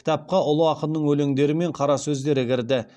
кітапқа ұлы ақынның өлеңдері мен қара сөздері кірді